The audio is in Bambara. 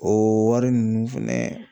O wari ninnu fɛnɛ